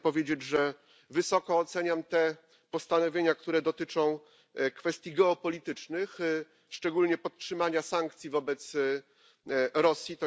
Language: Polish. Ja chcę powiedzieć, że wysoko oceniam te postanowienia, które dotyczą kwestii geopolitycznych, szczególnie podtrzymania sankcji wobec Rosji.